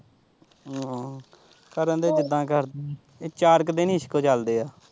ਹਮ ਕਰਨ ਦੇ ਜਿਦਾ ਕਰਦੇ ਆ ਇਹ ਚਾਰ ਕ ਦਿਨ ਹੀ ਇਸਕ ਚੱਲਦੇ ਆ।